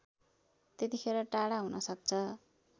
त्यतिखेर टाढा हुनसक्छ